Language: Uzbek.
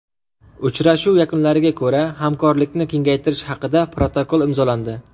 Uchrashuv yakunlariga ko‘ra hamkorlikni kengaytirish haqida protokol imzolandi.